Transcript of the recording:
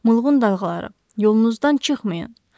Mulğun dalğaları, yolunuzdan çıxmayın.